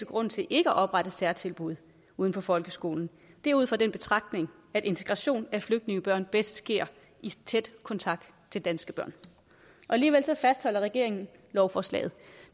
grund til ikke at oprette særtilbud uden for folkeskolen er ud fra den betragtning at integration af flygtningebørn bedst sker i tæt kontakt til danske børn alligevel fastholder regeringen lovforslaget